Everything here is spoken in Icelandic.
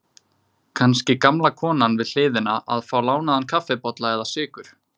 Kannski gamla konan við hliðina að fá lánaðan kaffibolla eða sykur.